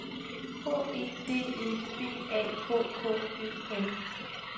H E D E B A K K E N